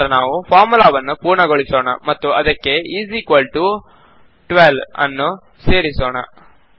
ನಂತರ ನಾವು ಫಾರ್ಮುಲಾವನ್ನು ಪೂರ್ಣಗೊಳಿಸೋಣ ಮತ್ತು ಅದಕ್ಕೆ ಇಸ್ ಇಕ್ವಾಲ್ ಟಿಒ12 ನ್ನು ಸೇರಿಸೋಣ